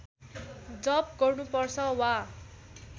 जप गर्नुपर्छ वा